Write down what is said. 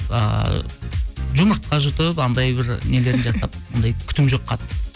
ыыы жұмыртқа жұтып анандай бір нелерін жасап ондай күтім жоқ қатты